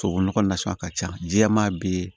Tubabunɔgɔ nasugu ka ca jɛman bɛ yen